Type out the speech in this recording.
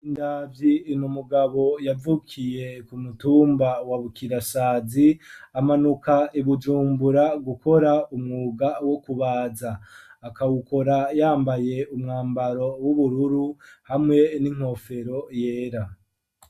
Bigirindavyi n'umugabo yavukiye ku mutumba wa Bukirasazi amanuka Ibujumbura gukora umwuga wo kubaza akawukora yambaye umwambaro w'ubururu hamwe n'inkofero yera.